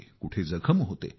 कुठे जखम होते